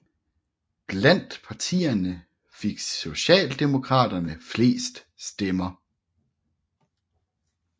Blandt partierne fik Socialdemokraterne flest stemmer